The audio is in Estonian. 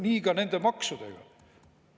Nii ka nende maksudega.